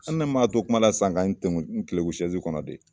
An ne maa to kuma la sisan ka n tenkun n keleku sɛzi kɔnɔ de